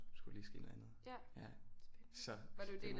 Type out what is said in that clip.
Skulle der lige ske noget andet ja så